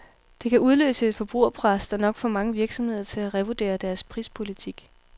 Det kan udløse et forbrugerpres, der nok får mange virksomheder til at revurdere deres prispolitik.